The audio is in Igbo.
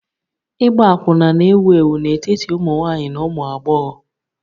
Ịgba akwụna na-ewu ewu n'etiti ụmụ nwanyị na ụmụ agbọghọ